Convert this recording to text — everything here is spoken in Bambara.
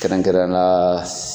Kɛrɛnkɛrɛnnenya la.